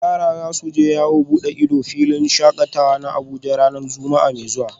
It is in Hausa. Yara za su je yawon bude ido a filin shakatawa na Abuja ranar Juma’a mai zuwa